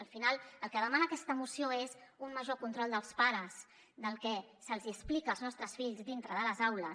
al final el que demana aquesta moció és un major control dels pares del que se’ls hi explica als nostres fills dintre de les aules